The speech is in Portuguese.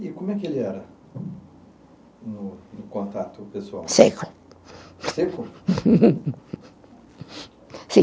E como é que ele era no no contato pessoal? Seco. Seco? Uhum. Sim.